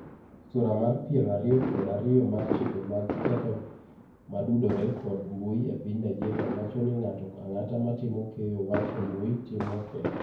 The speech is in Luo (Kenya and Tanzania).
Sura mar piero ariyo kod ariyo mar chike mag ketho modudore kod mbui e piny Nigeria wacho ni ng'ato ang'ata matimo keyo wach e mbui timo keth.